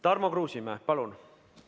Tarmo Kruusimäe, palun!